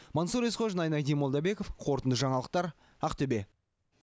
мансұр есқожин айнадин молдабеков қорытынды жаңалықтар ақтөбе